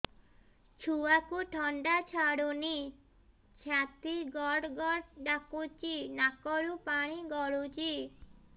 ଛୁଆକୁ ଥଣ୍ଡା ଛାଡୁନି ଛାତି ଗଡ୍ ଗଡ୍ ଡାକୁଚି ନାକରୁ ପାଣି ଗଳୁଚି